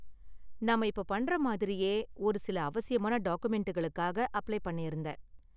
நாம இப்ப பண்ற மாதிரியே ஒரு சில அவசியமான டாக்குமெண்டுகளுக்காக அப்ளை பண்ணிருந்தேன்.